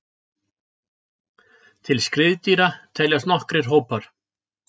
Til skriðdýra teljast nokkrir hópar.